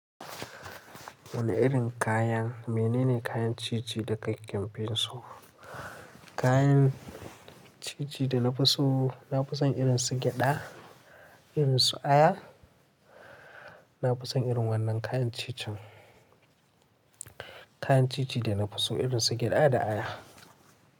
Wani irin kayan, mene ne kayan cici da ke fin su? Kayan cici da na fi so, na fi son irin su gyada, irin su aya. Na fi son irin wannan kayan cicin. Kayan cici da na fi so irin su gyada da aya.